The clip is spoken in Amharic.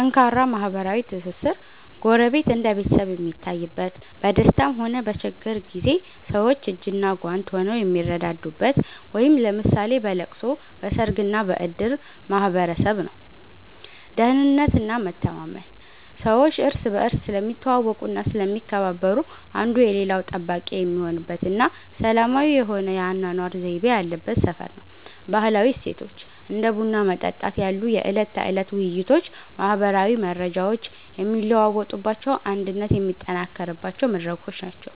ጠንካራ ማህበራዊ ትስስር፦ ጎረቤት እንደ ቤተሰብ የሚታይበት፣ በደስታም ሆነ በችግር ጊዜ ሰዎች እጅና ጓንት ሆነው የሚረዳዱበት (ለምሳሌ በለቅሶ፣ በሰርግና በእድር) ማህበረሰብ ነው። ደህንነትና መተማመን፦ ሰዎች እርስ በርስ ስለሚተዋወቁና ስለሚከባበሩ፣ አንዱ የሌላው ጠባቂ የሚሆንበትና ሰላማዊ የሆነ የአኗኗር ዘይቤ ያለበት ሰፈር ነው። ባህላዊ እሴቶች፦ እንደ ቡና መጠጣት ያሉ የዕለት ተዕለት ውይይቶች ማህበራዊ መረጃዎች የሚለዋወጡባቸውና አንድነት የሚጠናከርባቸው መድረኮች ናቸው።